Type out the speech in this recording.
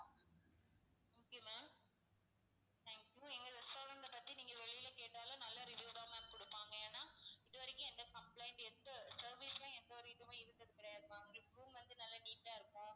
okay ma'am thank you எங்க restaurant அ பத்தி நீங்க வெளிய கேட்டாலும் நல்ல review தான் ma'am கொடுப்பாங்க. ஏன்னா இதுவரைக்கும் எந்த complaint எந்த service ல எந்த ஒரு இதுவுமே இருந்தது கிடையாது ma'am உங்களுக்கு room வந்து நல்லா neat ஆ இருக்கும்.